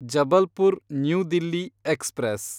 Jabalpur new Delhi express